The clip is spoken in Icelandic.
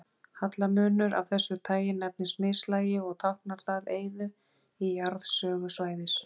Hallamunur af þessu tagi nefnist mislægi og táknar það eyðu í jarðsögu svæðis.